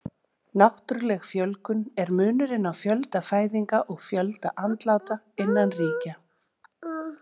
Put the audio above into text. Náttúruleg fjölgun er munurinn á fjölda fæðinga og fjölda andláta innan ríkja.